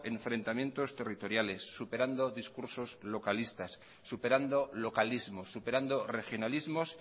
enfrentamientos territoriales superando discursos localistas superando localismos superando regionalismos